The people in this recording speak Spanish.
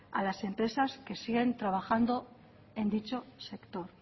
a las empresas que siguen trabajando en dicho sector